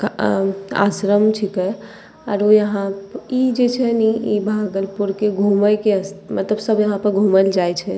अ उ आश्रम छिके आरो इहां इ जे छै ने इ भागलपुर के घूमे के स्था मतलब सब यहां पर घूमे ले जाइ छै।